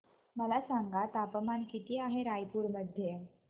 मला सांगा तापमान किती आहे रायपूर मध्ये